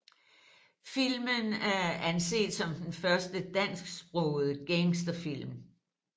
Filmen er anset som den første dansksprogede gangsterfilm